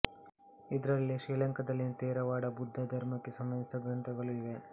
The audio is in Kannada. ಇದರಲ್ಲೇ ಶ್ರೀಲಂಕಾದಲ್ಲಿನ ತೇರವಾಡ ಬುದ್ಧ ಧರ್ಮಕ್ಕೆ ಸಂಬಂಧಿಸಿದ ಗ್ರಂಥಗಳೂ ಇವೆ